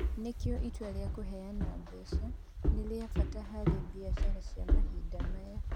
Nĩkĩ itua rĩa kũheana mbeca nĩ rĩa bata harĩ biacara cia mahinda maya?